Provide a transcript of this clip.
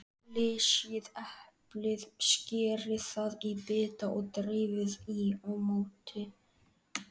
Flysjið eplið, skerið það í bita og dreifið í mótið.